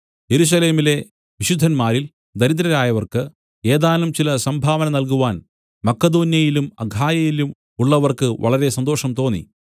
യെരൂശലേമിലെ വിശുദ്ധന്മാരിൽ ദരിദ്രരായവർക്ക് ഏതാനും ചില സംഭാവന നൽകുവാൻ മക്കെദോന്യയിലും അഖായയിലും ഉള്ളവർക്ക് വളരെ സന്തോഷം തോന്നി